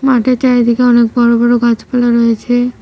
মাঠেতে এদিকে অনেক বড়ো বড়ো গাছপালা রয়েছে।